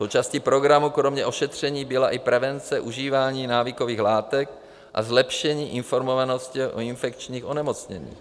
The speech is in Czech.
Součástí programu kromě ošetření byla i prevence užívání návykových látek a zlepšení informovanosti o infekčních onemocněních.